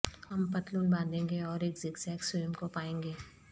ہم پتلون باندھیں گے اور ایک زگزگ سیوم کو پائیں گے